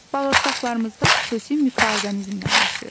Bağırsaqlarımızda xüsusi mikroorqanizmlər yaşayır.